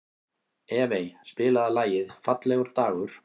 Evey, spilaðu lagið „Fallegur dagur“.